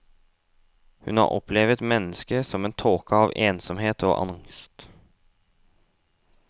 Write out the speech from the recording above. Hun har opplevet mennesket som en tåke av ensomhet og angst.